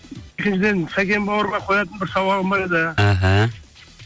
екіншіден сәкен бауырыма қоятын бір сауалым бар еді іхі